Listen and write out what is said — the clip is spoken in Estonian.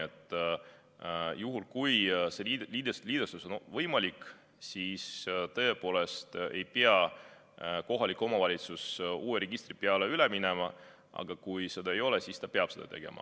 Nii et juhul, kui see liidestus on võimalik, siis tõepoolest ei pea kohalik omavalitsus uue registri peale üle minema, aga kui ei ole, siis ta peab seda tegema.